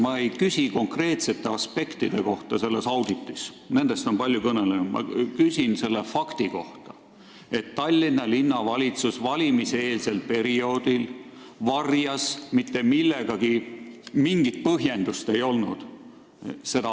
Ma ei küsi selle auditi konkreetsete aspektide kohta, nendest on palju kõneldud, ma küsin selle fakti kohta, et Tallinna Linnavalitsus valimiseelsel perioodil varjas seda tehtud auditit, kusjuures mingit põhjendust ei olnud.